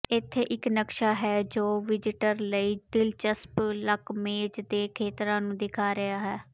ਇੱਥੇ ਇੱਕ ਨਕਸ਼ਾ ਹੈ ਜੋ ਵਿਜ਼ਟਰ ਲਈ ਦਿਲਚਸਪ ਲੱਕਮੇਜ਼ ਦੇ ਖੇਤਰਾਂ ਨੂੰ ਦਿਖਾ ਰਿਹਾ ਹੈ